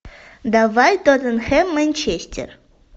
давай тоттенхэм манчестер